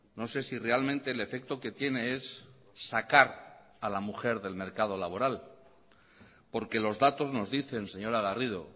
no sé si realmente el efecto que tiene es sacar a la mujer del mercado laboral porque los datos nos dicen señora garrido